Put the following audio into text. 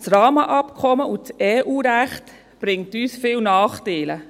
Das Rahmenabkommen und das EU-Recht bringen uns viele Nachteile.